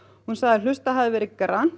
hún sagði að hlustað hefði verið